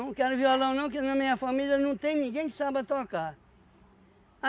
Não quero violão não, que na minha família não tem ninguém que saiba tocar.